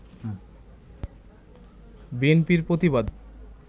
বিএনপির প্রতিবাদ